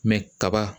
kaba